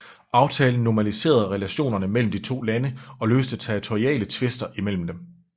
Aftalen normaliserede relationerne mellem de to lande og løste territoriale tvister imellem dem